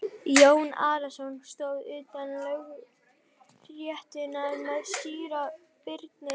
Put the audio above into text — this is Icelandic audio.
Jón Arason stóð utan lögréttunnar með síra Birni.